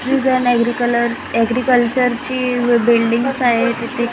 एग्रीकल्चरची buildings आहेत इथे.